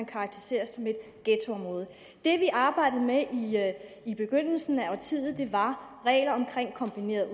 karakteriseres som et ghettoområde det vi arbejdede med i begyndelsen af årtiet var regler omkring kombineret